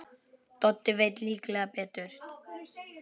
Doddi veit líklega betur.